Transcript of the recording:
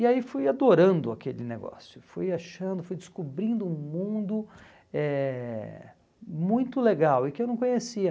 E aí fui adorando aquele negócio, fui achando, fui descobrindo um mundo eh muito legal e que eu não conhecia.